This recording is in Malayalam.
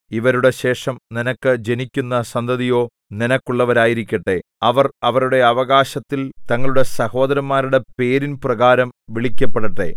ഇവരുടെ ശേഷം നിനക്ക് ജനിക്കുന്ന സന്തതിയോ നിനക്കുള്ളവരായിരിക്കട്ടെ അവർ അവരുടെ അവകാശത്തിൽ തങ്ങളുടെ സഹോദരന്മാരുടെ പേരിൻ പ്രകാരം വിളിക്കപ്പെടട്ടെ